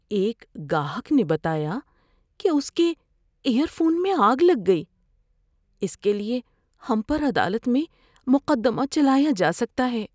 ایک گاہک نے بتایا کہ اس کے ایئر فون میں آگ لگ گئی۔ اس کے لیے ہم پر عدالت میں مقدمہ چلایا جا سکتا ہے۔